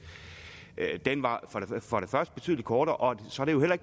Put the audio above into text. var betydelig kortere og desuden er